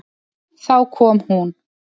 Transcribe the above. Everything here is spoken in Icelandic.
Þá kom hún.